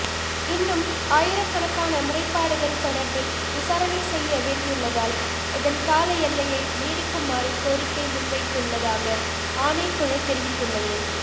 இன்னும் ஆயிரக்கணக்கான முறைப்பாடுகள் தொடர்பில் விசாரணை செய்ய வேண்டியுள்ளதால் இதன் கால எல்லையை நீடிக்குமாறு கோரிக்கை முன்வைத்துள்ளதாகஆணைக்குழு தெரிவித்துள்ளது